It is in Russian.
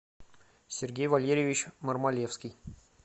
сергей валерьевич мармалевский